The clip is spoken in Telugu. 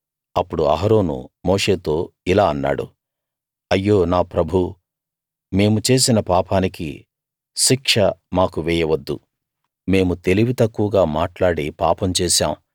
అప్పుడు అహరోను మోషేతో ఇలా అన్నాడు అయ్యో నా ప్రభూ మేము చేసిన పాపానికి శిక్ష మాకు వేయవద్దు మేము తెలివి తక్కువగా మాట్లాడి పాపం చేశాం